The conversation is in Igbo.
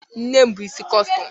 Nne m bu isi kọstọm